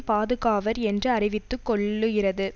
பாதுகாவர் என்று அறிவித்து கொள்ளு கிறது